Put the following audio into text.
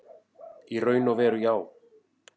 Í raun og veru já.